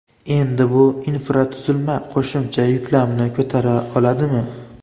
Endi bu infratuzilma qo‘shimcha yuklamani ko‘tara oladimi?